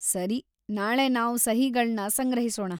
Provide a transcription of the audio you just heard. ಸರಿ, ನಾಳೆ ನಾವ್‌ ಸಹಿಗಳ್ನ ಸಂಗ್ರಹಿಸೋಣ.